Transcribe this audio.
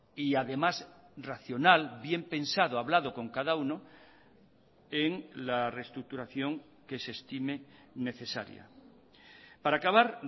y además racional bien pensado hablado con cada uno en la reestructuración que se estime necesaria para acabar